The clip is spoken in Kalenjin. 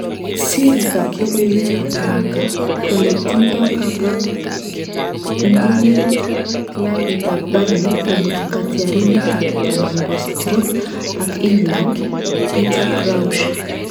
Siriik ab lokoiwek ab Marca kole tindo kabangunit klabit ab Burnely komut katyarindet ab tai nebo Stoke ak England , Peter Crouch